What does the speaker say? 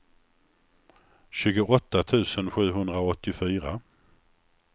tjugoåtta tusen sjuhundraåttiofyra